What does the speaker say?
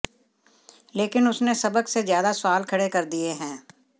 लेकिन उसने सबक से ज्यादा सवाल खड़े कर दिए हैं